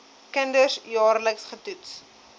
kinders jaarliks getoets